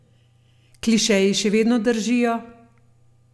Klišeji še vedno držijo?